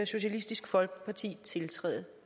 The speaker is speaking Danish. socialistisk folkeparti tiltræde